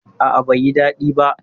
A'a, bai yi daɗi ba.